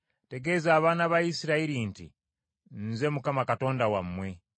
“Tegeeza abaana ba Isirayiri nti, ‘Nze Mukama Katonda wammwe.